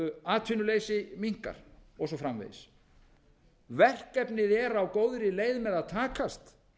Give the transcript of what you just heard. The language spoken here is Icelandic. atvinnuleysi minnkar og svo framvegis verkefnið er á góðri leið með að takast